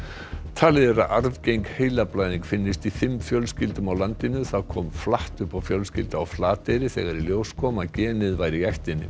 talið er að arfgeng heilablæðing finnist í fimm fjölskyldum á landinu það kom flatt upp á fjölskyldu á Flateyri þegar í ljós kom að genið væri í ættinni